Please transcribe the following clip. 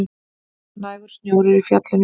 Nægur snjór er í fjallinu